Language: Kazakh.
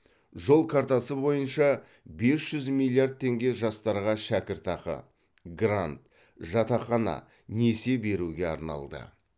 жол картасы бойынша бес жүз миллиард теңге жастарға шәкіртақы грант жатақхана несие беруге арналды